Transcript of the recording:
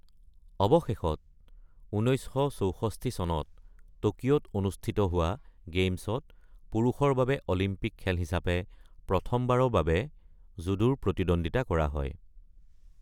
অৱশেষত ১৯৬৪ চনত টকিঅ’ত অনুষ্ঠিত হোৱা গেইমছত পুৰুষৰ বাবে অলিম্পিক খেল হিচাপে প্ৰথমবাৰৰ বাবে জুডোৰ প্ৰতিদ্বন্দ্বিতা কৰা হয়।